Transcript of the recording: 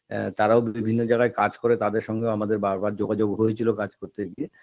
আ তারাও বিভিন্ন জায়গায় কাজ করে তাদের সঙ্গেও আমাদের বারবার যোগাযোগ হয়েছিল কাজ করতে গিয়ে